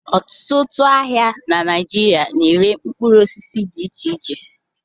Ọtụtụ ahịa na Naịjirịa na-ere mkpụrụ osisi dị iche iche